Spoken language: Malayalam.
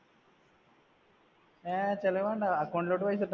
അഹ് ചെലവ് വേണ്ട, account ലോട്ടു പൈസ